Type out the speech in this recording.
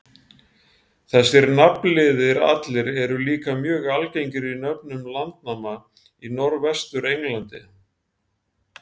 Þessir nafnliðir allir eru líka mjög algengir í nöfnum landnáma í Norðvestur-Englandi.